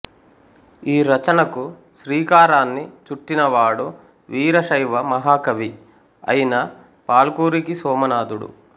ఈరచనకు శ్రీకారాన్ని చుట్టినవాడు వీరశైవ మహాకవి అయిన పాల్కురికి సోమనాధుడు